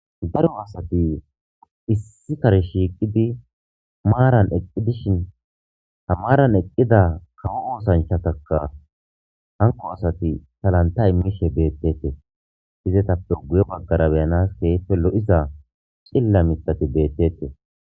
Daro asati issi kare shiiqidi maaran eqi dishin ha maaran eqida kawo oosanchataka hanko asati salanta immishe beetetes. Izetappe guye bagara keehippe beyanas lo'iza cilila mithati beetetes.